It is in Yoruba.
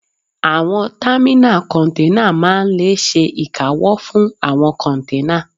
Àwọn támínà kọ́nténà máa n lè ṣe ìkáwọ́ fún àwọn kọ́nténà